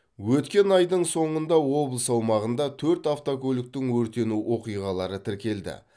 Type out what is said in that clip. өткен айдың соңғында облыс аумағында төрт автокөліктің өртену оқиғалары тіркелді